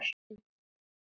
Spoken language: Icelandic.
Það var frábært í Eyjum.